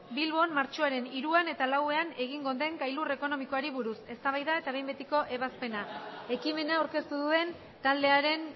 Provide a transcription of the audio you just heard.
bilbon martxoaren hiruan eta lauan egingo den gailur ekonomikoari buruz eztabaida eta behin betiko ebazpena ekimena aurkeztu duen taldearen